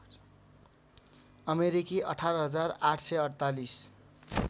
अमेरिकी १८८४८